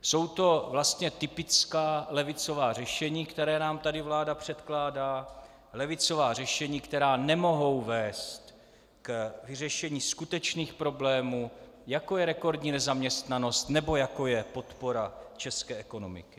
Jsou to vlastně typická levicová řešení, která nám tady vláda předkládá, levicová řešení, která nemohou vést k vyřešení skutečných problémů, jako je rekordní nezaměstnanost nebo jako je podpora české ekonomiky.